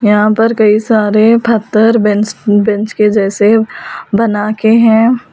यहां पर कई सारे पत्थर बेंच बेंच के जैसे बना के हैं।